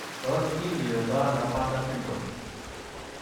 Tos kindiotono Bartter syndrome?